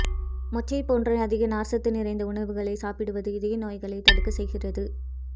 மொச்சை போன்ற அதிக நார்ச்சத்து நிறைந்த உணவுகளை சாப்பிடுவது இதய நோய்களை தடுக்க செய்கிறது